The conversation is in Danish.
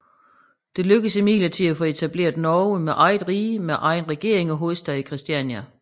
Det lykkedes imidlertid at få etableret Norge som eget rige med egen regering og hovedstad i Christiania